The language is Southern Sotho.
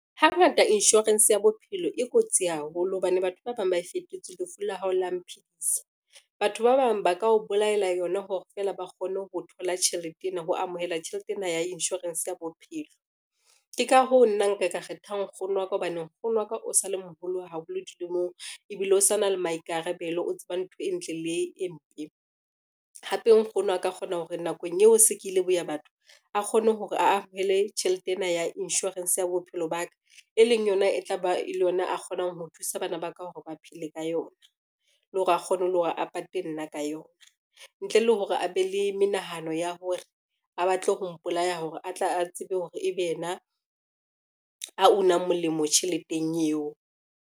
Hangata insurance ya bophelo e kotsi haholo hobane batho ba bang ba e fetotse lefu la hao la mphidisa. Batho ba bang ba ka o bolaela yona hore fela ba kgone ho amohela tjhelete ena ya insurance ya bophelo. Ke ka hoo, nna nka kgetha nkgono wa ka hobane nkgono wa ka o sa le moholo haholo dilemong ebile o sa na le maikarabelo, o tseba ntho e ntle le e mpe, hape nkgono a ka kgona hore nakong eo se ke ile boya batho, a kgone hore a tjhelete ena ya insurance ya bophelo ba ka, e leng yona e tla be e le yona a kgonang ho thusa bana ba ka hore ba phele ka yona, le hore a kgone le hore a pate nna ka yona. Ntle le hore a be le menehano ya hore a batle ho mpolaya hore a tle a tsebe hore ebe yena a unang molemo tjheleteng eo.